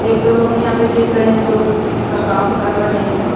एक दो लोग यहां पे दिख रहे हैं जो इसका काम कर रहे हैं।